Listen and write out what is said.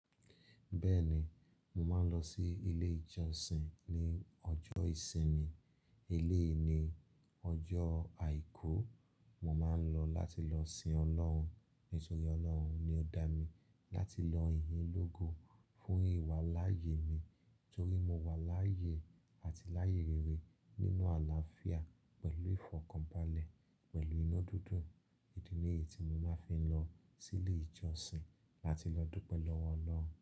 Bẹ́ẹ̀ni, mo máa ń lọ sí ilé ìjọsìn ní ọjọ́ ìsinmi. Eleyìí ní ọjọ́ àìkú mo máa ń lọ láti lọ sin Ọlọ́run. Nítorí Ọlọ́run ni ó dá mi láti lọ ìyín lógo fún ìwà láàyè mi torí mo wà láàyè àti láàyè rere nínú àlàáfíà pẹ̀lú ìfọ̀kànbalẹ̀, pẹ̀lú iná dúdún. Ìdí ni èyí tí mo máa ń fi lọ sí ilé ìjọsìn láti lọ dúpẹ́ lọ́wọ́ Ọlọ́run.